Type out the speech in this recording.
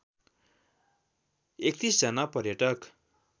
३१ जना पर्यटक